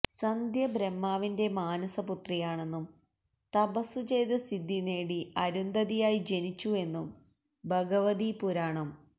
സന്ധ്യ ബ്രഹ്മാവിന്റെ മാനസപുത്രിയാണെന്നും തപസുചെയ്ത് സിദ്ധി നേടി അരുന്ധതിയായി ജനിച്ചു എന്നും ഭഗവതീപുരാണം